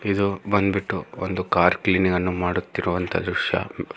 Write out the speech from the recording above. ಇದು ಬಂದ್ಬಿಟ್ಟು ಒಂದು ಕಾರ್ ಕ್ಲೀನಿಂಗ್ ಅನ್ನು ಮಾಡುತ್ತಿರುವಂತ ದೃಶ್ಯ.